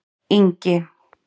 Ingi